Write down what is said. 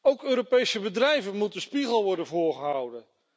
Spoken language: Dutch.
Ook Europese bedrijven moet een spiegel worden voorgehouden.